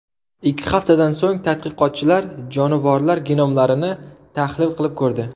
Ikki haftadan so‘ng tadqiqotchilar jonivorlar genomlarini tahlil qilib ko‘rdi.